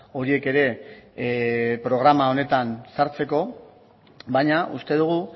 horiek ere programa honetan sartzeko baina uste dugu